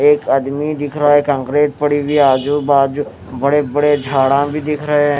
एक आदमी दिख रहा है कंक्रीट पड़ी हुई है आजू बाजू बड़े-बड़े झाड़ा भी दिख रहे हैं।